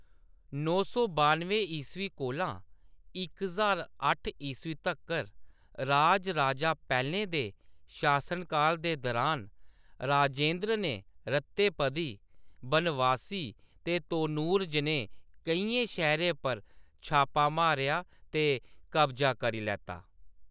नौ सौ बानुएं ईस्वी कोला इक ज्हार अट्ठ ईस्वी तक्कर राजराजा पैह्‌‌लें दे शासनकाल दे दुरान, राजेन्द्र ने रत्तेपदी, बनवासी ते तोनूर जनेह् केइयें शैह्‌‌‌रें पर छापा मारेआ ते कब्जा करी लैत्ता।